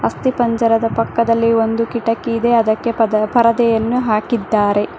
ಅಸ್ತಿಪಂಜರದ ಪಕ್ಕದಲ್ಲಿ ಒಂದು ಕಿಟಕಿ ಇದೆ ಅದಕ್ಕೆ ಪರದೆಯನ್ನು ಹಾಕಿದ್ದಾರೆ.